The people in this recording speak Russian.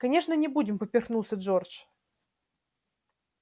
конечно не будем поперхнулся джордж